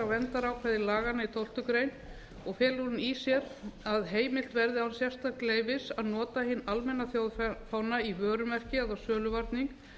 verndarákvæði laganna í tólftu greinar og felur hún í sér að heimilt verði án sérstaks leyfis að nota hinn almenna þjóðfána í vörumerki eða á söluvarning